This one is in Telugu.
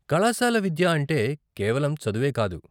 కళాశాల విద్య అంటే కేవలం చదువే కాదు.